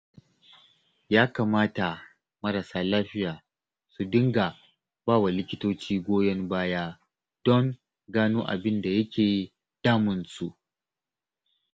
Ya kamata marasa lafiya su dinga ba wa likitoci goyon baya don gano abin da yake damunsu